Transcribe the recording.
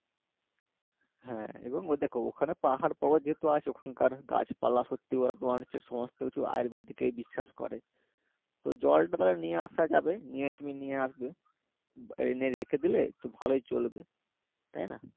হ্যাঁ এবং ও দেখো ওখানে পাহাড় পর্বত যেহেতু আছে ওখানকার গাছপালা সত্যিই ওরা তোমার হচ্ছে সমস্ত কিছু আয়ুর্বেদিকেই বিশ্বাস করে তো জলটা তালে নিয়ে আসা যাবে নিয়ে তুমি নিয়ে আসবে এনে রেখে দিলে তো ভালোই চলবে, তাই না?